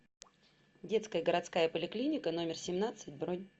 детская городская поликлиника номер семнадцать бронь